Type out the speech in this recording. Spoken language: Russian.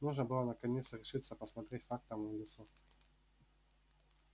нужно было наконец решиться посмотреть фактам в лицо